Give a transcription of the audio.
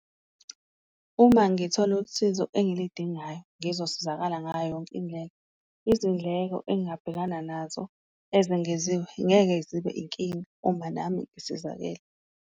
Uma ngithole usizo engilidingayo ngizosizakala ngayo yonke indlela, izindleko engingabhekana nazo ezengeziwe ngeke zibe inkinga uma nami ngisizakele.